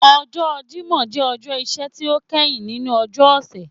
Ọjọ́ Jímọ̀ jẹ ọjọ́ iṣẹ́ ti o kẹhin ninu ọjọ́ ọ̀sẹ̀